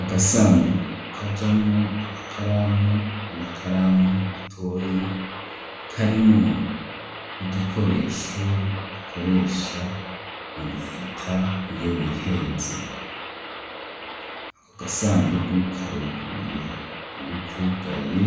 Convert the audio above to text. Agasandukgu kajamwo amakaramu n'amakaramu matoyi, karimwo n'igikoresho bakoresha mu gufuta iyo wihenze, ako gasandugu karuguruye iy'ukugaye